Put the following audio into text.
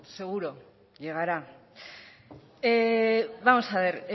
seguro llegará vamos a ver